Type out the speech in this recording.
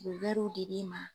U bɛ di di ma.